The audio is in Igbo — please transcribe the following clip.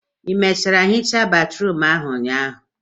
ị mechara hichaa batrum a ụnyaahụ?